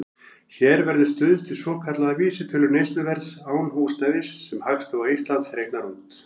Hér verður stuðst við svokallaða vísitölu neysluverðs án húsnæðis, sem Hagstofa Íslands reiknar út.